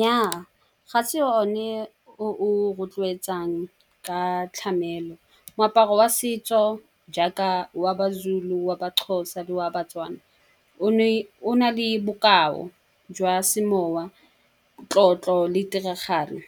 Nyaa, ga se o ne o o rotloetsang ka tlamelo. Moaparo wa setso jaaka wa ba-Zulu, wa ba-Xhosa le wa ba-Tswana o na le bokao jwa semowa, tlotlo le tiragalo.